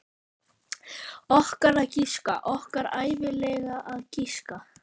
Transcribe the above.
Okkar að giska, okkar ævinlega að giska.